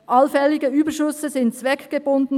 «Allfällige Überschüsse sind [...